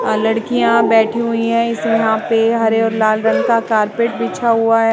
लड़कियां बैठी हुई हैं यहाँ पे हरे और लाल रंग का कारपेट बिछा हुआ है।